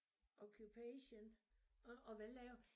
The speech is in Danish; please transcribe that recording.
Occupation og og hvad laver